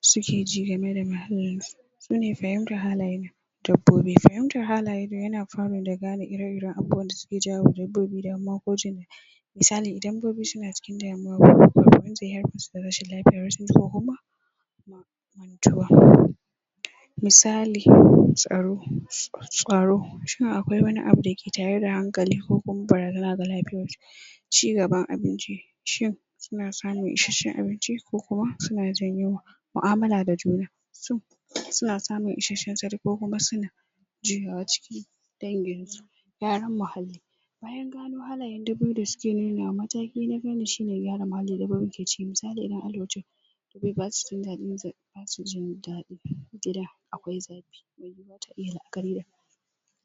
su ke ji game da su ne fahimtar halaye dabbobi, fahimtar halayen fara da gane ire-ire abubuwa da su ke jawowa dabbobi damuwa ko misali, idan dabbobi su na cikin damuwa ko da rashin lafiya mantuwa misali, tsaro, tsaro cewa akwai wani abu da ke tare da hankali ko kuma bara a gan lafiyar su cigaban abinci, cin su na samun isheshen abinci ko kuma su na jin yunwa mu'amula da juna su, su na samun isheshen sari ko kuma su na juyawa ciki, dangin su, gyaran mahalli bayan ganan halayan dubu da suke nuna mataki na fanni shi ne gyara mali da dabbobi ke ciki, misali wai ba su jindadi za, ba su jindadi gida akwai zafi ba ta iya karya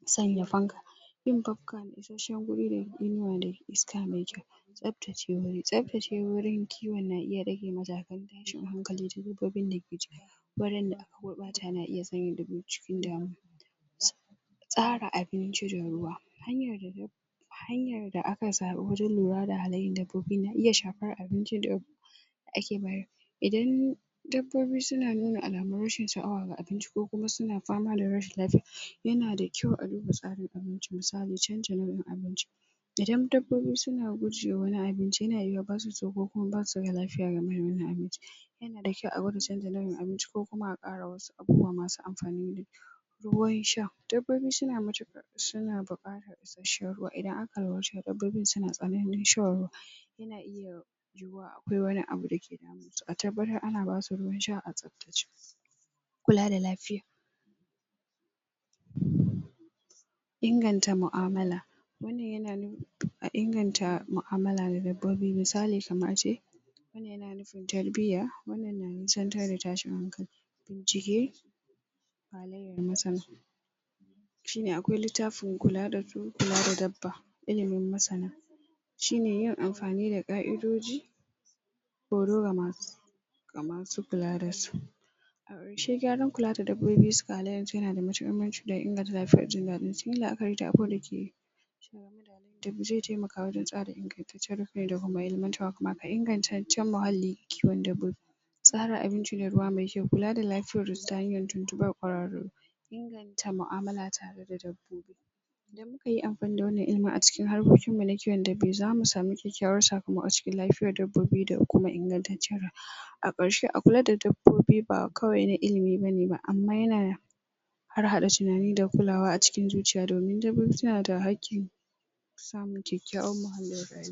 tsanya fanka, yin fanka mai isheshen guri ne, inuwa da iska mai kyau sabtace wuri, sabtace wurin kiwon na iya rage majakan tashin hankali duk dabbobin da ke wurin da aka ta na iya tsanya dubu cikin damuwar Tsara abinci da ruwa, hanyar hanyar da aka zabo wajen lura da hallayan dabbobi na iya shafar abinci da ake bayar, idan dabbobi su na nuna al'amun rashin sha'awa ga abinci ko kuma suna fama da rashin lafiya yana da kyau a dinga tsarin abinci misali canjin wurin abinci Idan dabbobi su na gurje wani abinci, ya na yiwa ba su so, ko ko basu da lafiya game da wannan abincin ya na kyau a gwada canja lauyin abinci ko kuma a kara wasu abubuwa masu amfani. Ruwan sha, dabbobi su na matukar su na bukatar su shan ruwa idan aka dabbobin su na tsananin shan ruwa ya na iya yuwa akwai wani abu da ke damun su a tabbatar a na ba su ruwan sha a sabtacce kulla da lafiya inganta mu'amala wannan ya na, a inganta mu'amala da dabbobi misali kamar a ce wannan ya na nufin tarbiyya, wannan na nisatan da tashin hankali halayan masana shi ne akwai littafin kulla da su kulla da dabba, ilimin masana shi ne yin amfanin da ka'idoji kama su a yarwashe gyaran kula da dabbobi ga layan sa ya na da mahimmanci da inganta lafiyar jindadi akwai wanda ke da ba zai taimaka wajen tsare ingantacce ingantaccen mahali, kiwon dabbobi tsara abinci da ruwa mai kyau, me ke kulla da lafiyar ta hanya tuntunba kwararrun inganta mu'amala tare da dabbobi idan mu kayi amfani da wannan ilimin a cikin harkokin mu na kiwo dabbi, za mu samu kyakyawar saƙamaƙo cikin lafiyar dabbobi da kuma ingataccen a karshe, a kula da dabbobi ba kawai na ilimi ne ba, amma ya na da harhada tunani da kulawa a cikin zuciya domin dabbobi su na da haƙin samu kyakyawar muhalli ya rayu.